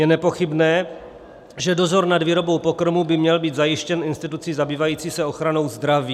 Je nepochybné, že dozor nad výrobou pokrmů by měl být zajištěn institucí zabývající se ochranou zdraví.